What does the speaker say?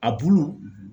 A bulu